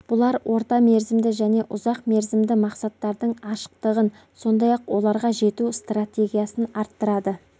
бұлар орта мерзімді және ұзақ мерзімді мақсаттардың ашықтығын сондай-ақ оларға жету стратегиясын арттырады